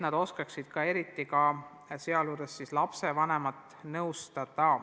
Nad peavad oskama ka lapsevanemaid nõustada.